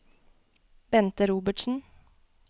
Bente Robertsen